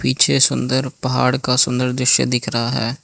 पीछे सुंदर पहाड़ का सुंदर दृश्य दिख रहा है।